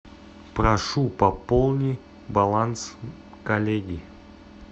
прошу пополни баланс коллеги